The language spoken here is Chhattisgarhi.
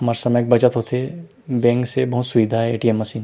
हमर समय के बचत होथे बैंक से बहुत सुविधा हे ए.टी.एम मशीन --